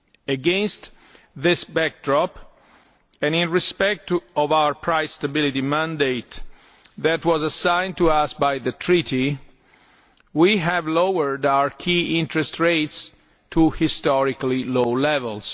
Against this backdrop, and in respect of the price stability mandate that was assigned to us by the Treaty, we have lowered our key interest rates to historically low levels.